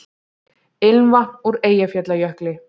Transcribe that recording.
Ilmvatn úr Eyjafjallajökli